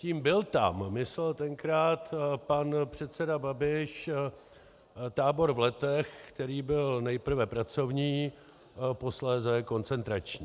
Tím "byl tam" myslel tenkrát pan předseda Babiš tábor v Letech, který byl nejprve pracovní, posléze koncentrační.